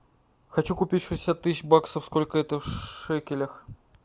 хочу купить шестьдесят тысяч баксов сколько это в шекелях